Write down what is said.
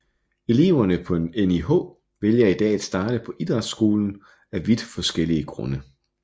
Eleverne på NIH vælger i dag at starte på idrætshøjskolen af vidt forskellige grunde